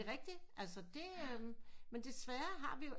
Det er rigtigt altså men desværre har vi